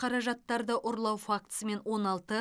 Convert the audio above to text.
қаражаттарды ұрлау фактісімен он алты